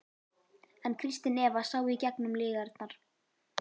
En Kristín Eva sá í gegnum lygarnar.